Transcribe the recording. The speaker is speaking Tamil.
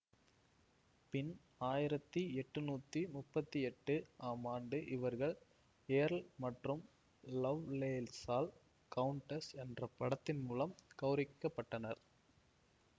பின் ஆயிரத்தி எட்டுநூத்தி முப்பத்தி எட்டு ஆம் ஆண்டு இவர்கள் ஏர்ல் மற்றும் லவ்லேஸால் கவுண்டெஸ் என்ற பட்டத்தின் மூலம் கௌரவிக்க பட்டனர்